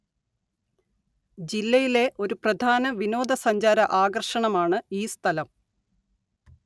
ജില്ലയിലെ ഒരു പ്രധാന വിനോദസഞ്ചാര ആകര്‍ഷണമാണ് ഈ സ്ഥലം